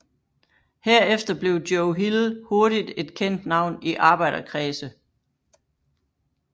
Herefter blev Joe Hill hurtigt et kendt navn i arbejderkredse